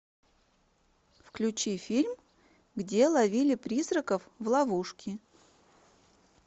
включи фильм где ловили призраков в ловушки